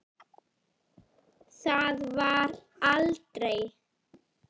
Það varð aldrei!